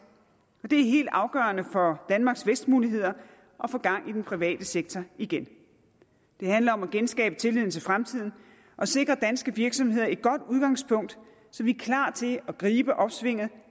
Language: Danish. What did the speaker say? og det er helt afgørende for danmarks vækstmuligheder at få gang i den private sektor igen det handler om at genskabe tilliden til fremtiden og sikre danske virksomheder et godt udgangspunkt så vi er klar til at gribe opsvinget